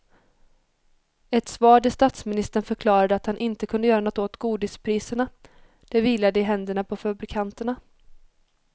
Ett svar där statsministern förklarade att han inte kunde göra något åt godispriserna, det vilade i händerna på fabrikanterna.